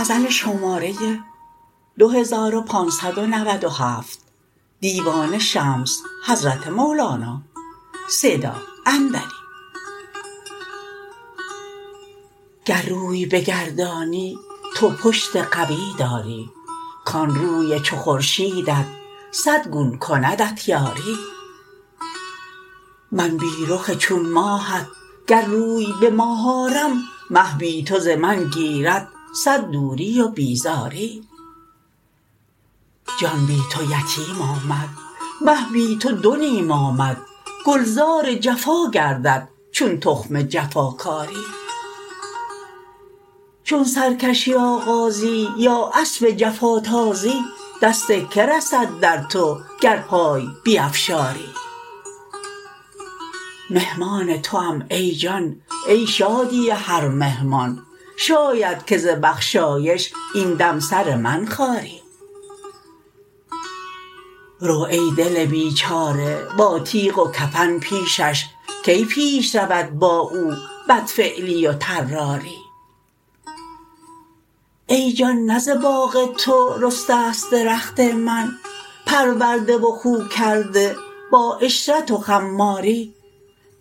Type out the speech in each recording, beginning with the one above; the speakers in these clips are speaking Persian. گر روی بگردانی تو پشت قوی داری کان روی چو خورشیدت صد گون کندت یاری من بی رخ چون ماهت گر روی به ماه آرم مه بی تو ز من گیرد صد دوری و بیزاری جان بی تو یتیم آمد مه بی تو دو نیم آمد گلزار جفا گردد چون تخم جفا کاری چون سرکشی آغازی یا اسب جفا تازی دست کی رسد در تو گر پای نیفشاری مهمان توام ای جان ای شادی هر مهمان شاید که ز بخشایش این دم سر من خاری رو ای دل بیچاره با تیغ و کفن پیشش کی پیش رود با او بدفعلی و طراری ای جان نه ز باغ تو رسته ست درخت من پرورده و خو کرده با عشرت و خماری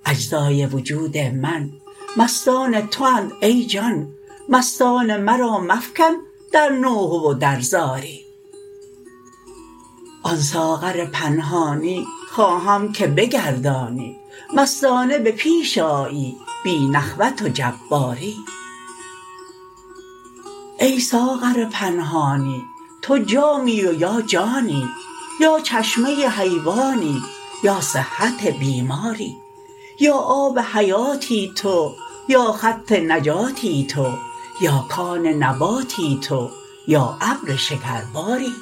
اجزای وجود من مستان تواند ای جان مستان مرا مفکن در نوحه و در زاری آن ساغر پنهانی خواهم که بگردانی مستانه به پیش آیی بی نخوت و جباری ای ساغر پنهانی تو جامی و یا جانی یا چشمه حیوانی یا صحت بیماری یا آب حیاتی تو یا خط نجاتی تو یا کان نباتی تو یا ابر شکرباری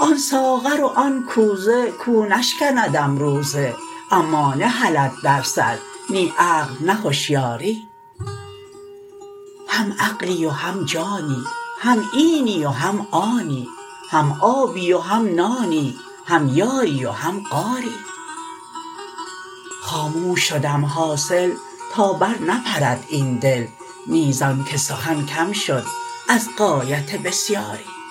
آن ساغر و آن کوزه کو نشکندم روزه اما نهلد در سر نی عقل نی هشیاری هم عقلی و هم جانی هم اینی و هم آنی هم آبی و هم نانی هم یاری و هم غاری خاموش شدم حاصل تا برنپرد این دل نی زان که سخن کم شد از غایت بسیاری